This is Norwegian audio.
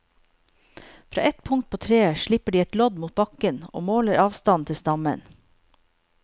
Fra et punkt på treet slipper de et lodd mot bakken og måler avstanden til stammen.